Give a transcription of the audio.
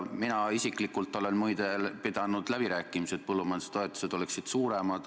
Mina isiklikult olen muide pidanud läbirääkimisi, et põllumajandustoetused oleksid suuremad.